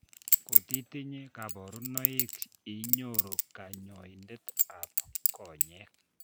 Kotitinye kaborunoik inyoru kanyoindet ab konyeek